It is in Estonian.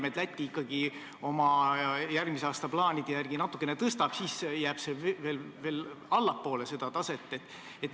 Ja kui Läti ikkagi oma järgmise aasta plaanide järgi seda aktsiisi natukene tõstab, siis jääb meie oma veel allapoole nende taset.